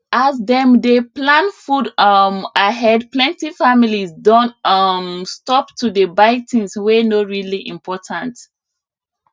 as dem dey plan food um ahead plenty families don um stop to dey buy things wey no really important